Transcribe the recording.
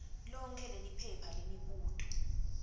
lonkhe leliphepha lemibuto